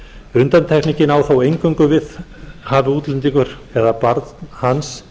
undantekningin á þó eingöngu við hafi útlendingur eða barn hans